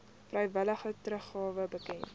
vrywillige teruggawe bekend